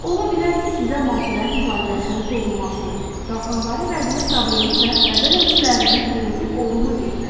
Ola bilər ki, sizə maddələr mübadiləsinin pozulmasını, qalxanvari vəznin problemini və bədən ölçülərinizin genetik olduğunu deyiblər.